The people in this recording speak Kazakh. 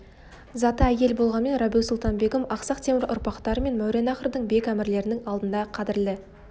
заты әйел болғанмен рабиу-сұлтан-бегім ақсақ темір ұрпақтары мен мауреннахрдың бек әмірлерінің алдында қадірлі